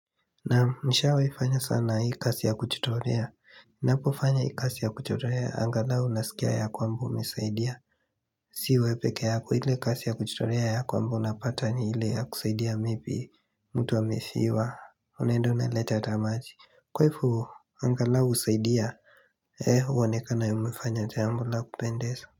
Naam, nishawahi fanya sana hii kazi ya kujitolea Ninapofanya hii kazi ya kujitolea angalau unasikia ya kwamba umesaidia Sio wewe peke yako, ile kazi ya kujitolea ya kwamba unapata ni ile ya kusaidia maybe mtu amefiwa, Unaenda unaleta hata maji. Kwa hivyo angalau husaidia, uonekane umefanya jambo la kupendeza.